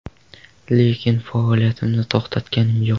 Lekin faoliyatimni to‘xtatganim yo‘q.